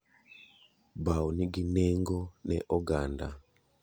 Bao ni gi nengo ne oganda.